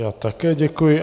Já také děkuji.